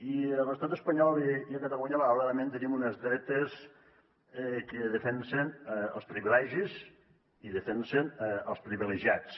i a l’estat espanyol i a catalunya malauradament tenim unes dretes que defensen els privilegis i defensen els privilegiats